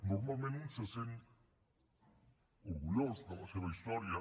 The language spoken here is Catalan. normalment un se sent orgullós de la seva història